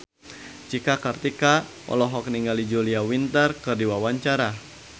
Cika Kartika olohok ningali Julia Winter keur diwawancara